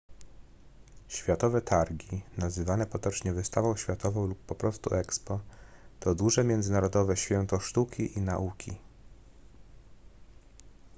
światowe targi nazywane potocznie wystawą światową lub po prostu expo to duże międzynarodowe święto sztuki i nauki